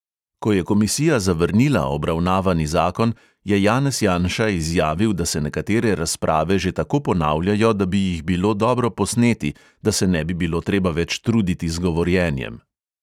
Ko je komisija zavrnila obravnavani zakon, je janez janša izjavil, da se nekatere razprave že tako ponavljajo, da bi jih bilo dobro posneti, da se ne bi bilo treba več truditi z govorjenjem.